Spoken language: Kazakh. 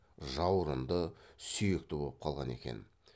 жаурынды сүйекті боп қалған екен